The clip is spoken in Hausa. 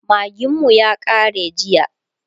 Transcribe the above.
magin mu ya kare jiya